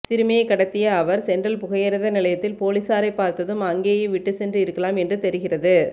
சிறுமியை கடத்திய அவர் சென்ட்ரல் புகையிரத நிலையத்தில் பொலிஸாரை பார்த்ததும் அங்கேயே விட்டு சென்று இருக்கலாம் என்று தெரிகிறது